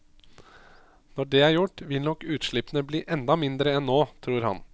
Når det er gjort, vil nok utslippene bli enda mindre enn nå, tror han.